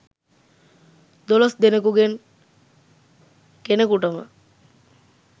දොලොස් දෙනෙකුගෙන් කෙනෙකුටම